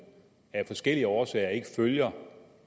af forskellige årsager ikke følger